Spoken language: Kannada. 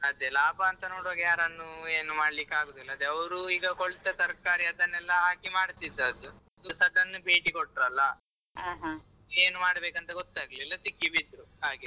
ಅದೇ ಲಾಭ ಅಂತ ನೋಡುವಾಗ ಯಾರನ್ನು ಏನು ಮಾಡ್ಲಿಕ್ಕೆ ಅಗುದಿಲ್ಲಾ ಅದೇ ಅವ್ರು ಈಗ ಕೊಳ್ತ ತರ್ಕಾರಿ ಅದೇನೆಲ್ಲಾ ಹಾಕಿ ಮಾಡ್ತಿದದ್ದು sudden ಭೇಟಿ ಕೊಟ್ರಲ್ಲಾ ಅವರಿಗೆ ಏನ್ ಮಾಡ್ಬೇಕಂತ ಗೊತ್ತಾಗ್ಲಿಲ್ಲಾ ಸಿಕ್ಕಿಬಿದ್ರು ಹಾಗೆ.